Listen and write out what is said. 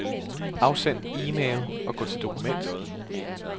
Afsend e-mail og gå til dokument.